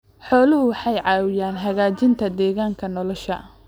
Xooluhu waxay caawiyaan hagaajinta deegaanka nolosha.